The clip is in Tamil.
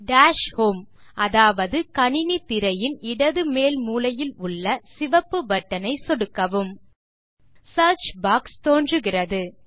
டாஷ் ஹோம் அதாவது கணினி திரையின் இடது மேல் மூலையில் உள்ள சிவப்பு பட்டனை சொடுக்கவும் சியர்ச் பாக்ஸ் தோன்றுகிறது